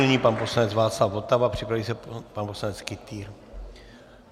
Nyní pan poslanec Václav Votava, připraví se pan poslanec Kytýr.